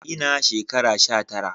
Ina da shekara sha tara